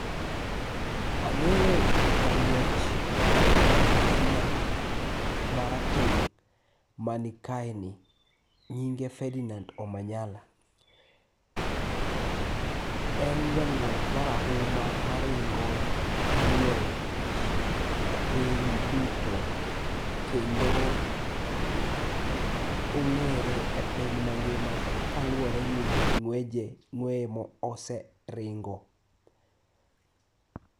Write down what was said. Ang'eyo jang'wech mar Kenya ma rateng' ma ni kae ni nyinge Ferdinand Omanyala. En jang'wech ma rahuma maringo ng'wech e piny duto kendo ong'ere e piny mangima kaluwore gi ng'weje, ng'weye ma oseringo.